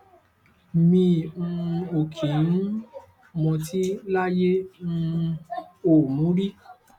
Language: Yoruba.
mi um ò kí um ń mọtí láyé n um ò mu ún rí